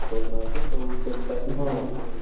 କରୁନାହାନ୍ତି ସବୁ ସେମତି ଚାଲିଛି